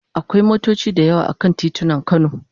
Akwai motoci da yawa a kan titunan Kano.